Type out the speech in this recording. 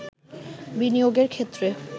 বিনিয়োগের ক্ষেত্রে